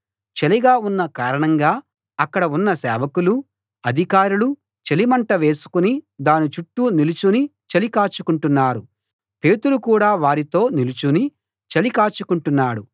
చలిగా ఉన్న కారణంగా అక్కడ ఉన్న సేవకులు అధికారులు చలి మంట వేసుకుని దాని చుట్టూ నిలుచుని చలి కాచుకొంటున్నారు పేతురు కూడా వారితో నిలుచుని చలి కాచుకొంటున్నాడు